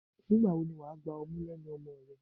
Nígbà wo ni wà á gba ọmú lẹ́nu ọmọ rẹ?